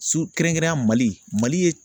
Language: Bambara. So kɛrɛnkɛrɛnneya Mali Mali ye